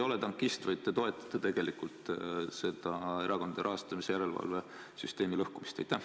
Kas te ei ole tankist, vaid toetate tegelikult seda erakondade rahastamise järelevalve süsteemi lõhkumist?